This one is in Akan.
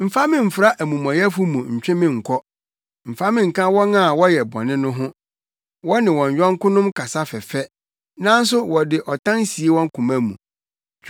Mfa me mfra amumɔyɛfo mu ntwe me nkɔ, mfa me nka wɔn a wɔyɛ bɔne no ho. Wɔne wɔn yɔnkonom kasa fɛfɛ, nanso wɔde ɔtan sie wɔn koma mu.